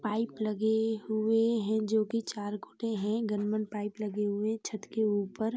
Pipe लगे हुए हैं जोकि चार खुटे है गन-मन पाइप लगे हुए हैं। छत के ऊपर।